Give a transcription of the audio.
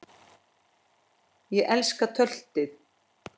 Ég elska töltið.